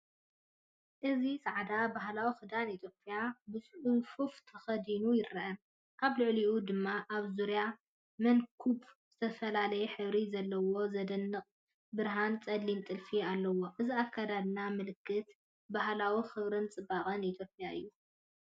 እዚ ጻዕዳ ባህላዊ ክዳን ኢትዮጵያ ብጽፉፍ ተኸዲኑ ይረአ። ኣብ ልዕሊኡ ድማ ኣብ ዙርያ መንኵቡ ዝተፈላለየ ሕብሪ ዘለዎ ዘደንቕ ብርሃንን ጸሊምን ጥልፊ ኣለዎ። እዚ ኣከዳድና ምልክት ባህላዊ ክብርን ጽባቐን ኢትዮጵያ እዩ።